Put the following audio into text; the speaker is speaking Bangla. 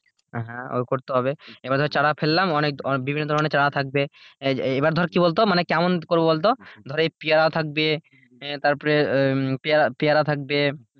হ্যাঁ ওই করতে হবে, এবার ধর চারা ফেললাম বিভিন্ন ধরনের ছাড়া থাকবে। এবার ধর কি বলতো কেমন করে বলতো ধর এই পিয়ারা থাকবে আহ তারপরে, উম পিয়ারা থাকবে,